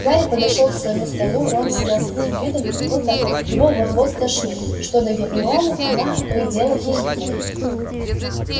гарри подошёл к своему столу рон сидел с таким видом как будто его вот-вот стошнит что до гермионы она то и дело хихикала